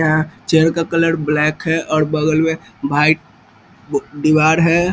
Chair का colour black है और बगल में वाइट दीवार है।